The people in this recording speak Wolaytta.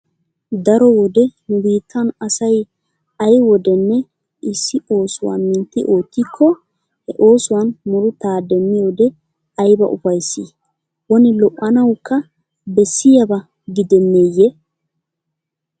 Daro wode nu biittan asay ay wodenne issioosuwa mintti oottikko he oosuwan murutaa demmiyode ayba ufayss? Woni lo'anawukka bessiyaba gidenneeyye?